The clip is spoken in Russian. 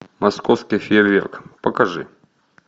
московский фейерверк покажи